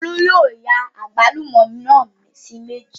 Olú yóò ya àgbálùmọ́ náà sí méjì